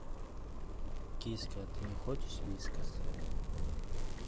киска ты не хочешь вискас